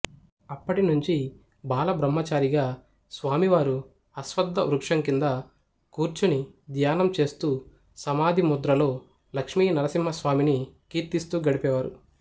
అప్పటినుంచి బాలబ్రహ్మచారిగా స్వామివారు అశ్వద్ధ వృక్షం కింద కూర్చుని ధ్యానం చేస్తూ సమాధి ముద్రలో లక్ష్మీనరసింహస్వామిని కీర్తిస్తూ గడిపేవారు